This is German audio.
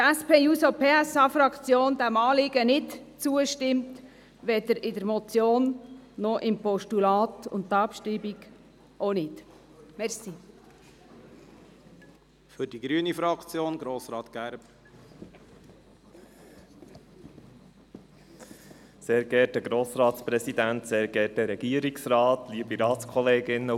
Die SP-JUSO-PSA-Fraktion stimmt diesem Anliegen nicht zu, weder als Motion noch als Postulat, und einer Abschreibung stimmt sie ebenfalls nicht zu.